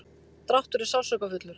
dráttur er sársaukafullur.